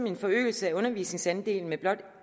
en forøgelse af undervisningsandelen med blot